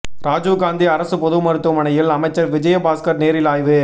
ராஜீவ் காந்தி அரசு பொது மருத்துவமனையில் அமைச்சர் விஜயபாஸ்கர் நேரில் ஆய்வு